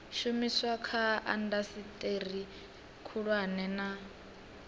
shumiswa kha indasiteri khulwane na